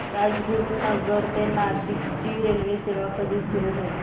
राजगुरूनगर ते नाशिक ची रेल्वेसेवा कधी सुरू होईल